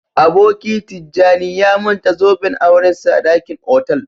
Aboki Tijjani ya manta zoben aurensa a dakin otal